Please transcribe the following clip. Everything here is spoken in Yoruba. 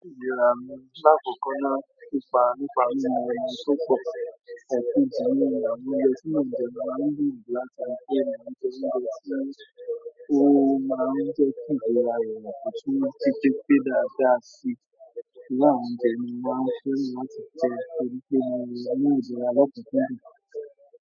Ìlera mi láàkọ̀kọ náà, nípa nípa mímu ẹyin tó pọ̀, ẹ̀kejí ni àwọn oúnjẹ ti mo ń jẹ máa ń gbìyànjú láti ri pe mo n je oúnjẹ tí ó máa ń jẹ́ kí ìlera eyan kọ̀tún ji pepé dáadáa si. Iru àwọn oúnjẹ yi ni mo maa n fẹ́ràn láti jẹ torí pé mo mu ìlera lọ́kunkun dùn.